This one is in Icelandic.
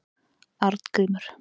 Arngrímur